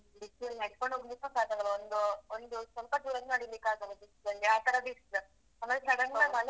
ಹ್ಮ್. ಬಿಸ್ಲಲ್ಲಿ ನಡ್ಕೊಂಡ್ ಹೋಗ್ಲಿಕ್ಕೂ ಸಾಕಾಗಲ್ಲ ಒಂದೂ ಒಂದು ಸ್ವಲ್ಪ ದೂರ ನಡೀಲಿಕ್ಕಾಗಲ್ಲ ಬಿಸ್ಲಲ್ಲಿ ಆತರ ಬಿಸ್ಲ್ ಆಮೇಲ್ ಸಡನ್ನಾಗ್.